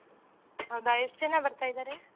ಹೌದಾ ಎಷ್ಟ್ ಜನ ಬರ್ತಿದಾರೆ?